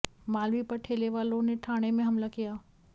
मालवी पर ठेलेवालों ने ठाणे में हमला किया